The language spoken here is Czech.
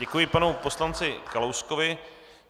Děkuji panu poslanci Kalouskovi.